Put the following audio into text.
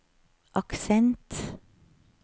aksent